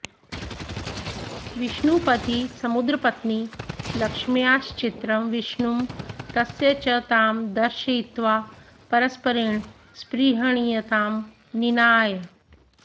विष्णुपदी समुद्रपत्नी लक्ष्म्याश्चित्रं विष्णुं तस्य च तां दर्शयित्वा परस्परेण स्पृहणीयतां निनाय